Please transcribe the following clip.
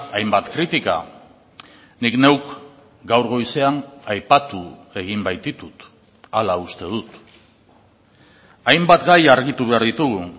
hainbat kritika nik neuk gaur goizean aipatu egin baititut hala uste dut hainbat gai argitu behar ditugu